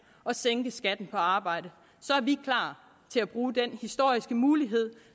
og sænke skatten på arbejde så er vi klar til at bruge den historiske mulighed